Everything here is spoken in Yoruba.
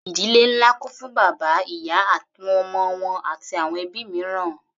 Ìdílé ńlá kún fún bàbá, ìyá, àwọn ọmọ wọn àti àwọn ẹbí mìíràn.